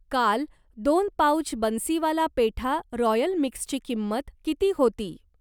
काल दोन pouch Bansiwala Petha royal मिक्सची किंमत किती होती?